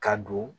Ka don